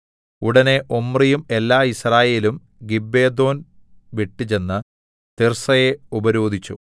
ഉടനെ ഒമ്രിയും എല്ലാ യിസ്രായേലും ഗിബ്ബെഥോൻ വിട്ടുചെന്ന് തിർസ്സയെ ഉപരോധിച്ചു